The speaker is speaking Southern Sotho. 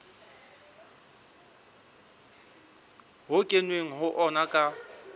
ho kenweng ho ona ka